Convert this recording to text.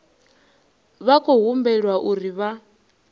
vha khou humbelwa uri vha